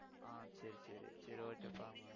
ஆஹ் சரி சரி சரி okay